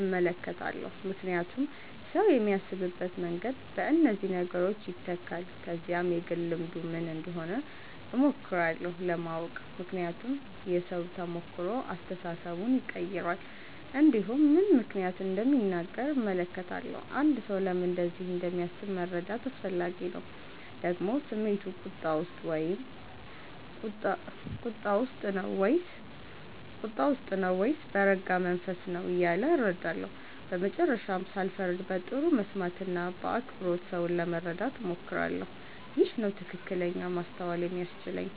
እመለከታለሁ ምክንያቱም ሰው የሚያስብበት መንገድ በእነዚህ ነገሮች ይተካል ከዚያም የግል ልምዱ ምን እንደሆነ እሞክራለሁ ለማወቅ ምክንያቱም የሰው ተሞክሮ አስተሳሰቡን ይቀይራል እንዲሁም ምን ምክንያት እንደሚናገር እመለከታለሁ አንድ ሰው ለምን እንደዚህ እንደሚያስብ መረዳት አስፈላጊ ነው ደግሞ ስሜቱ ቁጣ ውስጥ ነው ወይስ በረጋ መንፈስ ነው እያለ እረዳለሁ በመጨረሻም ሳልፈርድ በጥሩ መስማት እና በአክብሮት ሰውን ለመረዳት እሞክራለሁ ይህ ነው ትክክለኛ ማስተዋል የሚያስችለኝ